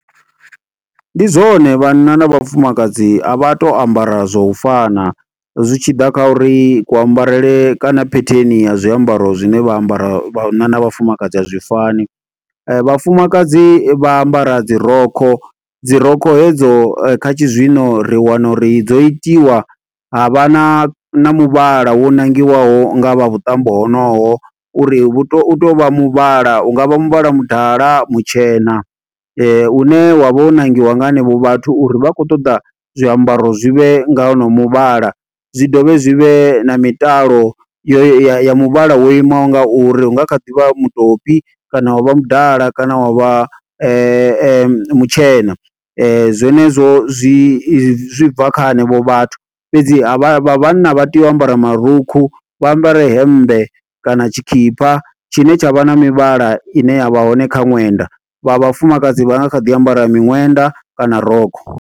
Ndi zwone vhanna na vhafumakadzi a vha to ambara zwo u fana. Zwi tshi ḓa kha uri kuambarele kana phetheni ya zwiambaro zwine vha ambara vhanna na vhafumakadzi azwi fani. Vhafumakadzi vha ambara dzi rokho, dzi rokho hedzo kha tshizwino, ri wana uri dzo itiwa ha vha na, na muvhala wo nangiwaho nga vha vhuṱambo honoho uri vhu to, u to vha muvhala. Hungavha muvhala mudala, mutshena, une wa vha wo ṋangiwa nga henevho vhathu, uri vha khou ṱoḓa zwiambaro zwi vhe nga honoyo muvhala. Zwi dovhe zwi vhe na mitalo ya muvhala wo imaho nga uri, hu nga kha ḓi vha mutopi, kana wa vha mudala, kana wa vha mutshena. Zwenezwo zwi i, zwi bva kha henevho vhathu, fhedzi ha vha, vha vhanna vha tea u ambara marukhu, vha ambare hemmbe kana tshikipa tshine tsha vha na mivhala ine ya vha hone kha ṅwenda. Vha vhafumakadzi vha nga kha ḓi ambara miṅwenda kana rokho.